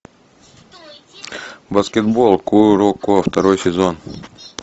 баскетбол куроко второй сезон